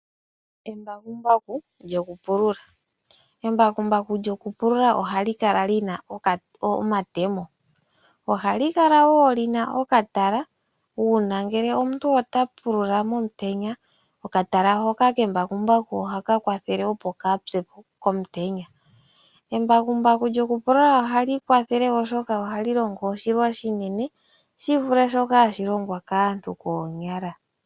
Embakumbaku lyokupulula ohali kala li na omatemo, ohali kala wo li na okatala uuna ngele omuntu ota pulula momutenya okatala hoka kembakumbaku ohaka kwathele opo kaapye po komutenya. Embakumbaku lyokupulula ohali kwathele wo oshoka ohali longo oshilwa oshinene shivule shoka hashi longwa kaantu koonyala.